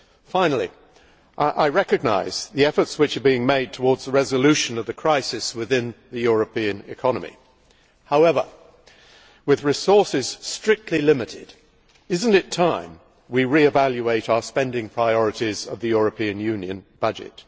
Finally, I recognise the efforts which are being made towards resolving the crisis in the European economy. However, with resources strictly limited, is it not time that we revaluated our spending priorities for the European Union budget?